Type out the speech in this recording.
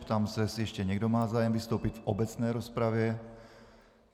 Ptám se, jestli ještě někdo má zájem vystoupit v obecné rozpravě.